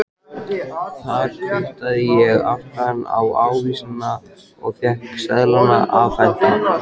Þar kvittaði ég aftan á ávísunina og fékk seðlana afhenta.